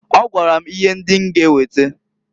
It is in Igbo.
Ọ gwara m ihe ndị m ga eweta.